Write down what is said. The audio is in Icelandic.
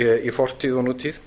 í fortíð og nútíð